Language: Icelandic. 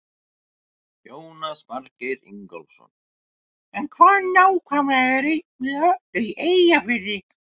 Jónas Margeir Ingólfsson: En hvað nákvæmlega er Ein með öllu í Eyjafirði?